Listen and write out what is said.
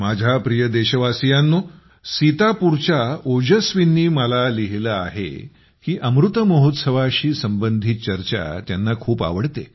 माझ्या प्रिय देशवासियांनो सीतापूरच्या ओजस्वींनी मला लिहिले आहे की अमृत महोत्सवाशी संबंधित चर्चा त्यांना खूप आवडते